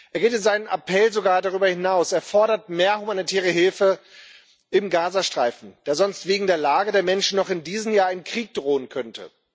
Er geht in seinem Appell sogar darüber hinaus Er fordert mehr humanitäre Hilfe im Gazastreifen, da sonst wegen der Lage der Menschen noch in diesem Jahr ein Krieg drohen könnte.